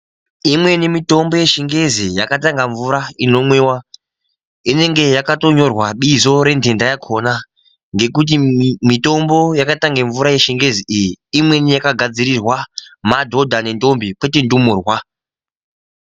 Imweni mitombo yechingezi yakaitanga mvura inomwiwa. Inenge yakatonyorwa bizo yendhenda yakhona, ngekuti mitombo yakaitanga mvura yechingezi iyi, imweni yakagadzirirwa madhodha nentombi kwete ndumurwa.